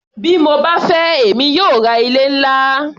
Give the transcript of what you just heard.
Bí mo bá fẹ́ èmi yóò ra ilé-ńlá.